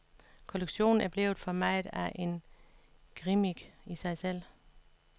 Kollektionen er blevet for meget af en gimmick i sig selv.